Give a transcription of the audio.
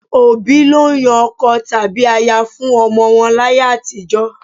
Òbí ló ń yan ọkọ tàbí aya fún ọmọ wọn láyé àtijọ́.